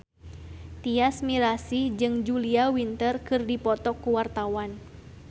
Tyas Mirasih jeung Julia Winter keur dipoto ku wartawan